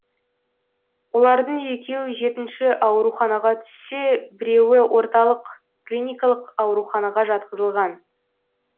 олардың екеуі жетінші ауруханаға түссе біреуі орталық клиникалық ауруханаға жатқызылған